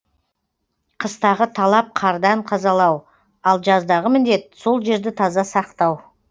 қыстағы талап қардан тазалау ал жаздағы міндет сол жерді таза сақтау